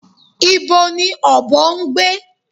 Ibo ni ọ̀bọ ń gbé?